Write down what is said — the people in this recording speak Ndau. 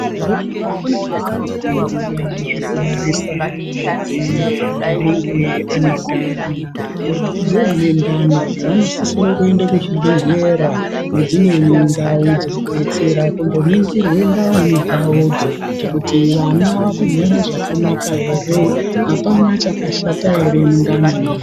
Mazuwa ano kune vakaifundira zvekubarisa akadzi anenge ane ndani. Vakadzi vane ndani vanosisire kuende kuzvibhedhlera nedzimweni ndau dzinodetsera kundoningirwe ndani dzavodzo, kuti vana vakagara zvakanaka ere, apana chakashata ere mundanimwo.